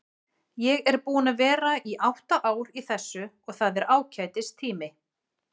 Ég er búinn að vera átta ár í þessu og það er ágætis tími.